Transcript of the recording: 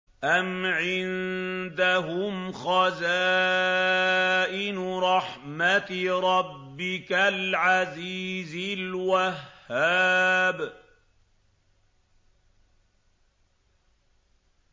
أَمْ عِندَهُمْ خَزَائِنُ رَحْمَةِ رَبِّكَ الْعَزِيزِ الْوَهَّابِ